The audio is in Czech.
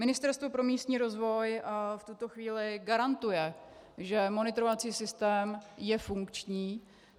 Ministerstvo pro místní rozvoj v tuto chvíli garantuje, že monitorovací systém je funkční.